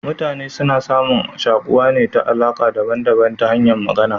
Mutane suna samun shakuwa ne ta alaka daban daban ta hanyan Magana